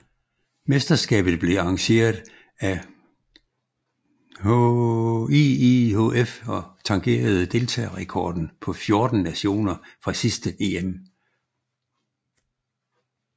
Mesterskabet blev arrangeret af IIHF og tangerede deltagerrekorden på 14 nationer fra sidste EM